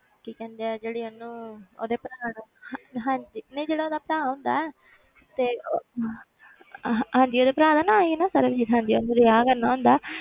ਕੀ ਕਹਿੰਦੇ ਆ ਜਿਹੜੀ ਇਹਨੂੰ ਉਹਦੇ ਭਰਾ ਨੂੰ ਹਾਂ ਹਾਂਜੀ ਨਹੀਂ ਜਿਹੜਾ ਉਹਦਾ ਭਰਾ ਹੁੰਦਾ ਹੈ ਤੇ ਅਹ ਹਾਂਜੀ ਉਹਦੇ ਭਰਾ ਦਾ ਨਾਂ ਹੀ ਨਾ ਸਰਬਜੀਤ, ਹਾਂਜੀ ਉਹਨੂੰ ਰਿਹਾ ਕਰਨਾ ਹੁੰਦਾ,